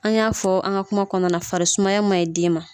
An y'a fɔ an ka kuma kɔnɔna na farisumaya ma ɲi den ma.